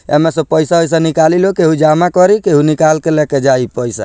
एमें से पइसा-उइसा निकाली लोग केहू जामा करी केहू निकाल के लेके जाई पइसा।